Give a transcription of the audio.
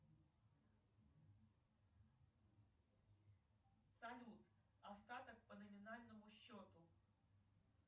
салют остаток по номинальному счету